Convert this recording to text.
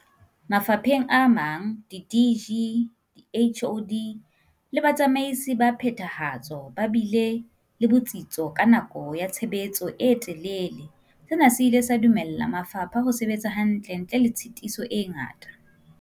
Mafapheng a mang, di-DG, di-HoD le batsamaisi ba phethahatso ba bile le bo tsitso ka nako ya tshebetso e telele, sena se ile sa dumella mafapha ho sebetsa hantle ntle le tshitiso e ngata.